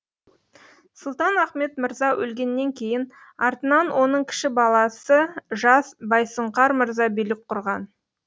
сұлтан ахмет мырза өлгеннен кейін артынан оның кіші баласы жас байсұңқар мырза билік құрған